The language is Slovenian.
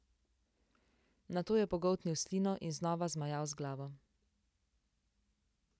Nato je pogoltnil slino in znova zmajal z glavo.